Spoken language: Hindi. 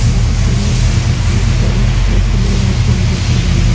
नगदी भीतर पैसा निकलवाते हुए दिखाई दे रहे है।